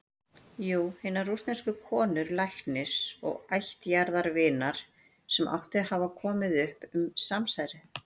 Jú- hinnar rússnesku konu, læknis og ættjarðarvinar, sem átti að hafa komið upp um samsærið.